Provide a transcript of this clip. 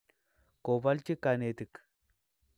Kobalchi kanetiik